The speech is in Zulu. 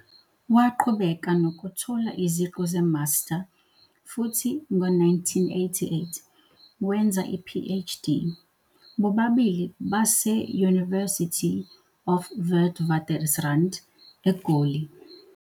Waqhubeka nokuthola iziqu ze-master futhi, ngo-1988, wenza i-PhD, bobabili base-University of Witwatersrand, eGoli.